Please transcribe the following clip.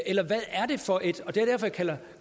eller hvad er det for et